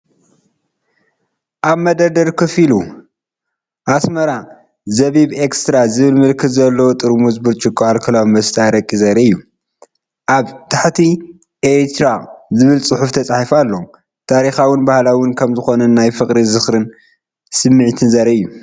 ኣብ መደርደሪ ኮፍ ኢሉ “ASMARA ZIBIB EXTRA” ዝብል ምልክት ዘለዎ ጥርሙዝ ብርጭቆ ኣልኮላዊ መስተ ኣረቂ ዘርኢ እዩ። ኣብ ታሕቲ “ERITREA” ዝብል ጽሑፍ ተጻሒፉ ኣሎ። ታሪኻውን ባህላውን ከም ዝኾነ ናይ ፍቕሪ፡ ዝኽርን ስምዒት ዘርኢ እዩ።